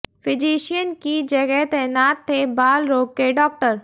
physician की जगह तैनात थे बाल रोग के डॉक्टर